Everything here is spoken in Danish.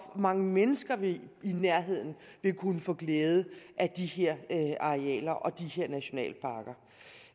mange mennesker i nærheden vil kunne få glæde af de her arealer og de her nationalparker